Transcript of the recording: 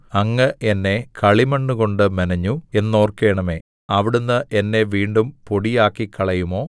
അങ്ങ് എന്നെ കളിമണ്ണുകൊണ്ട് മെനഞ്ഞു എന്നോർക്കണമേ അവിടുന്ന് എന്നെ വീണ്ടും പൊടിയാക്കിക്കളയുമോ